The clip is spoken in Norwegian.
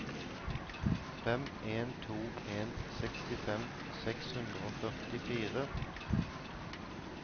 fem en to en sekstifem seks hundre og førtifire